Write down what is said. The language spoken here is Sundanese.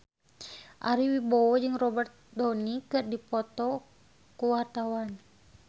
Ari Wibowo jeung Robert Downey keur dipoto ku wartawan